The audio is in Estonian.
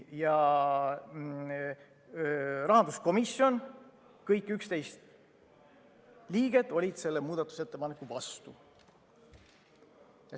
Rahanduskomisjoni kõik 11 liiget olid selle muudatusettepaneku vastu.